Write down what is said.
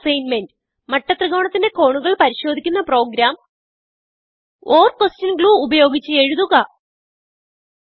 ഒരു അസ്സിഗ്ന്മെന്റ് മട്ടത്രികോണത്തിന്റെ കോണുകൾ പരിശോദിക്കുന്ന പ്രോഗ്രാം ഓർ ക്വെഷൻ ഗ്ലൂ ഉപയോഗിച്ച് എഴുതുക